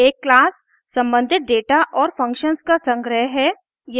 एक class सम्बंधित data और functions का संग्रह है